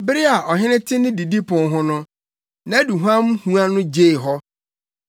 Bere a ɔhene te ne didipon ho no, nʼaduhuam hua no gyee hɔ.